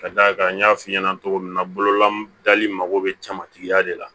Ka d'a kan n y'a f'i ɲɛna cogo min na bololabli mago bɛ jamatigɛya de la